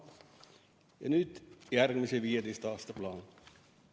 Ja nüüd on siin järgmise 15 aasta plaan.